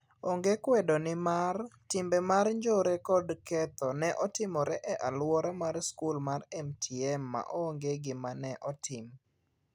Onge kwedo nimar, timbe mar njore kod ketho ne otimore e aluor mar skul mar MTM,maonge gima ne otim.